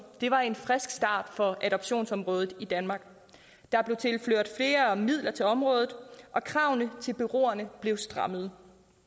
var en frisk start for adoptionsområdet i danmark der blev tilført flere midler til området og kravene til bureauerne blev strammet